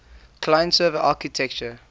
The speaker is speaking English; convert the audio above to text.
client server architecture